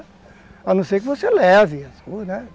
A não ser que você leve as coisas, né?